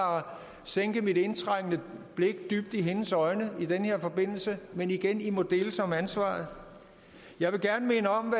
sænke mit indtrængende blik dybt i hendes øjne i den her forbindelse men igen i må deles om ansvaret jeg vil gerne minde om